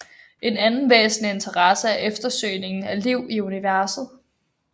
En anden væsentlig interesse er eftersøgningen af liv i universet